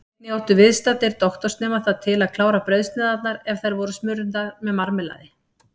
Einnig áttu viðstaddir doktorsnemar það til að klára brauðsneiðarnar ef þær voru smurðar með marmelaði.